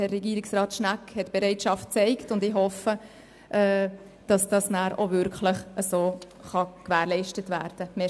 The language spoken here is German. Herr Regierungsrat Schnegg hat die Bereitschaft gezeigt, und ich hoffe, dass dies nachher auch wirklich so gewährleistet werden kann.